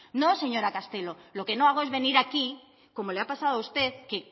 no señora castelo lo que no hago es venir aquí como le ha pasado a usted que